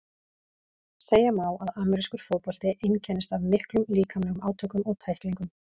Segja má að amerískur fótbolti einkennist af miklum líkamlegum átökum og tæklingum.